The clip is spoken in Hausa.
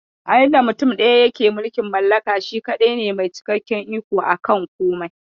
A inda mutum ɗaya yake mulkin mallaka, shi kaɗai ne mai cikakken iko aka komai.